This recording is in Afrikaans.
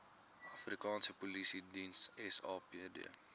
afrikaanse polisiediens sapd